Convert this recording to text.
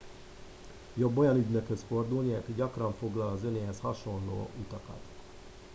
jobb olyan ügynökhöz fordulni aki gyakran foglal az önéhez hasonló utakat